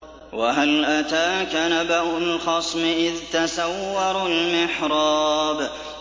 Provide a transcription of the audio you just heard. ۞ وَهَلْ أَتَاكَ نَبَأُ الْخَصْمِ إِذْ تَسَوَّرُوا الْمِحْرَابَ